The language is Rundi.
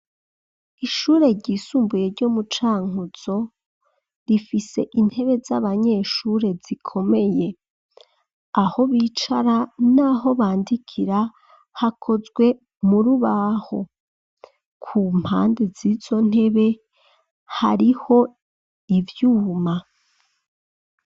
Ishure ryisumbuye ryo mu Cankuzo rifise intebe z'abanyeshure zikomeye , aho bicara naho bandikira hakozwe murubaho, kumpande zizo ntebe , hariho ivyuma.